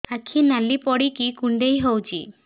ଆଖି ନାଲି ପଡିକି କୁଣ୍ଡେଇ ହଉଛି